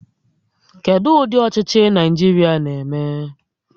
Kedu ụdị ọchịchị Naịjirịa na-eme?